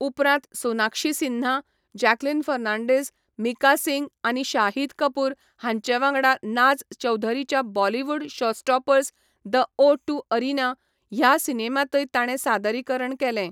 उपरांत सोनाक्षी सिन्हा, जॅकलीन फर्नांडीस, मिका सिंग आनी शाहिद कपूर हांचे वांगडा नाज चौधरीच्या Bollywood showstoppers 'the O two arena' ह्या सिनेमांतय ताणें सादरीकरण केलें.